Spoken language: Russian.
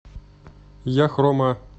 яхрома